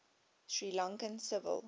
sri lankan civil